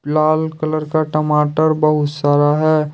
लाल colour का टमाटर बहुत सारा है।